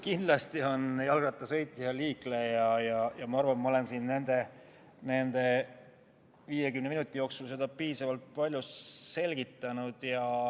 Kindlasti on jalgrattaga sõitja liikleja ja ma arvan, et ma olen siin nende 50 minuti jooksul seda piisavalt palju selgitanud.